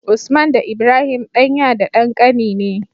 Usman da Ibrahim ɗan ya da ɗan kani ne